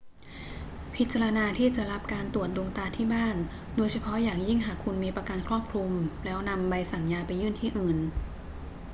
พิจารณาที่จะรับการตรวจดวงตาที่บ้าน โดยเฉพาะอย่างยิ่งหากคุณมีประกันครอบคลุม แล้วนำใบสั่งยาไปยื่นที่อื่น